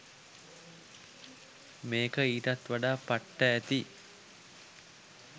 මේක ඊටත් වඩා පට්ට ඇති